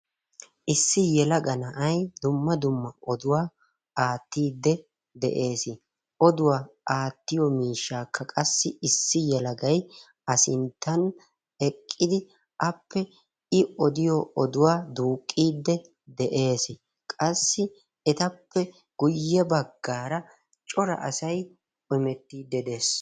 Issi yelaga na'ay dumma dumma oduwaa aattide de'ees. oduwaa aattiyo miishshakka qassi issi yelagay a sinttan eqqidi appe duuqide de'ees. qassi etappe guyye baggara cora asay hemetide dees.